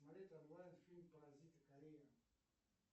смотреть онлайн фильм паразиты корея